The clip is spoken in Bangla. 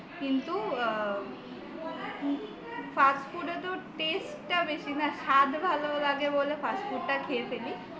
কিন্তু fast food এ তো taste টা বেশি না স্বাদ ভালো লাগে বলে fast food টা খেয়ে ফেলি